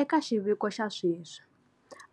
Eka xiviko xa sweswi,